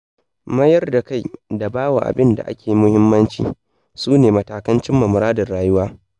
Mayar da kai da bawa abinda ake muhimmanci, sune matakan cimma muradin rayuwa.